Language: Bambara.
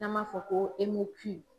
N'an m'a fɔ ko